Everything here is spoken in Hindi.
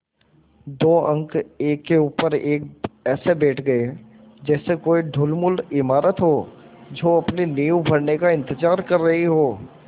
दो अंक एक के ऊपर एक ऐसे बैठ गये जैसे कोई ढुलमुल इमारत हो जो अपनी नींव भरने का इन्तज़ार कर रही हो